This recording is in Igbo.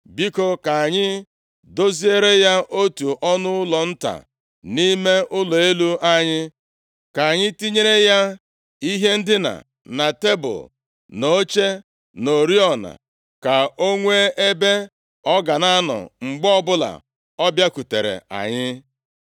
Biko, ka anyị doziere ya otu ọnụụlọ nta nʼime ụlọ elu anyị, ka anyị tinyere ya ihe ndina na tebul, na oche, na oriọna, ka o nwee ebe ọ ga na-anọ mgbe ọbụla ọ bịakwutere anyị.”